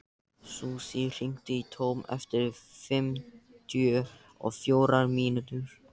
Susie, hringdu í Tom eftir fimmtíu og fjórar mínútur.